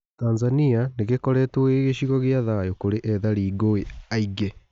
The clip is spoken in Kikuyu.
Tanzania nĩ gĩ koretwo gĩ cigo gĩ a thayu kũrĩ ethari ngũĩ aingĩ .